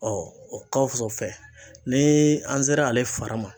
o kan fɛ ni an sera ale fara ma